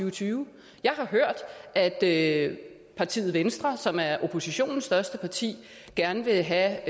og tyve jeg har hørt at at partiet venstre som er oppositionens største parti gerne vil have